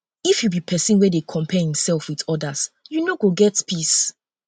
if you be pesin wey dey compare imself with odas you no go get peace